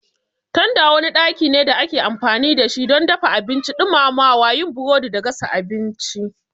Tanda wani ɗaki ne da ake amfani da shi don dafa abinci, ɗumamawa, yin burodi da gasa abinci.